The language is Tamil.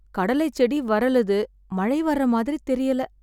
கடலைச்செடி வறலுது, மழை வர்ற மாதிரி தெரியல